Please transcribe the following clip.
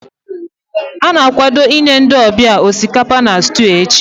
ọ na-akwado inye ndị ọbịa osikapa na stew echi